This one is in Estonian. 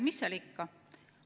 Mis seal ikka!